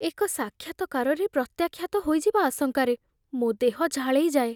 ଏକ ସାକ୍ଷାତକାରରେ ପ୍ରତ୍ୟାଖ୍ୟାତ ହୋଇଯିବା ଆଶଙ୍କାରେ ମୋ ଦେହ ଝାଳେଇଯାଏ।